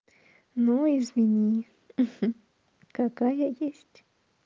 ну извини какая есть